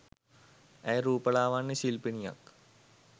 ඇය රූපලාවන්‍ය ශිල්පිනියක්